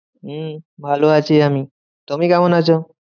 হম ভালো আছি আমি। তুমি কেমন আছো?